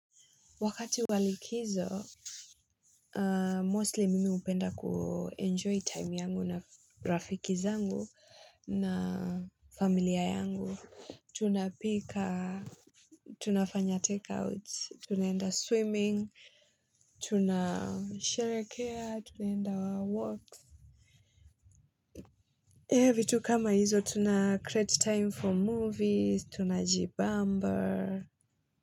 Wakati wa likizo, mostly mimi hupenda kuenjoy time yangu na rafiki zangu na familia yangu. Tunapika, tunafanya takeouts, tunaenda swimming, tunasherehekea, tunaenda wa walks. Ehe vitu kama hizo, tuna create time for movies, tuna jibamba.